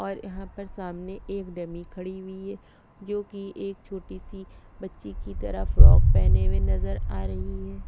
और यहाँ पर सामने एक डमी खड़ी हुई है जोकि एक छोटी सी बच्ची की तरह फ्रॉक पहिने हुए नज़र आ रही है।